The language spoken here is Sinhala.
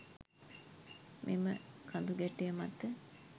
මෙම කඳුගැටය මත